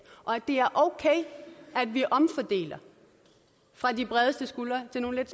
og at det er okay at vi omfordeler fra de bredeste skuldre til nogle af